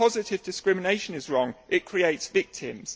Positive discrimination is wrong it creates victims.